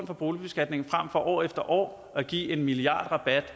for boligbeskatningen fremfor år efter år at give en milliardrabat